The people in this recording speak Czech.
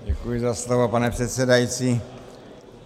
Děkuji za slovo, pane předsedající.